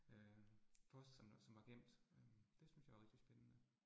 Øh post som var som var gemt øh. Det synes jeg er rigtig spændende